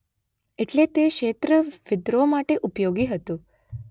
એટલે તે ક્ષેત્ર વિદ્રોહ માટે ઉપયોગી હતું